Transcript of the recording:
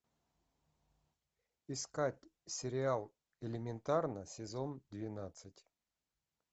искать сериал элементарно сезон двенадцать